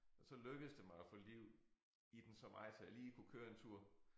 Og så lykkedes det mig at få liv i den så meget så jeg lige kunne køre en tur